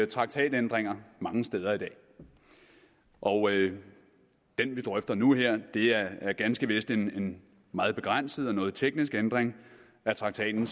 traktatændringer mange steder i dag og den vi drøfter nu her er ganske vist en meget begrænset og noget teknisk ændring af traktaten